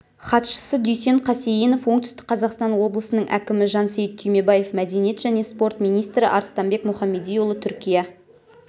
хатшысы дүйсен қасейінов оңтүстік қазақстан облысының әкімі жансейіт түймебаев мәдениет және спорт министрі арыстанбек мұхамедиұлы түркия